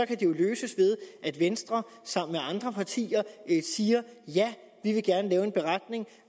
kan det jo løses ved at venstre sammen med andre partier siger ja vi vil gerne lave en beretning